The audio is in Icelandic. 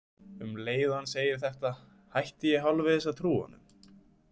Um leið og hann segir þetta hætti ég hálfvegis að trúa honum.